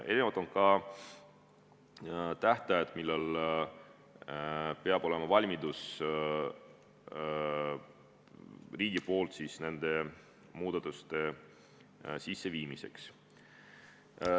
Erinevad on ka tähtajad, millal peab riigil olema valmidus nende muudatuste sisseviimiseks.